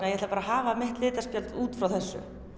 ég ætla bara að hafa mitt út frá þessu